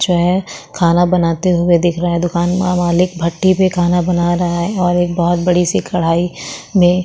जो है खाना बनाते हुए दिख रहा है दुकान का मालिक भट्टी पे खाना बना रहा है और एक बड़ी सी कढ़ाई में --